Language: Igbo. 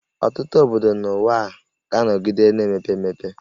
Ọtụtụ obodo n'ụwa ga-anọgide na-emepe emepe